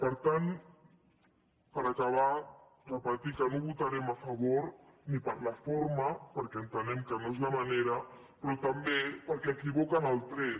per tant per acabar repetir que no hi votarem a favor ni per la forma perquè entenem que no és la manera però també perquè equivoquen el tret